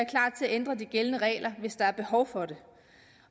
ændre de gældende regler hvis der er behov for det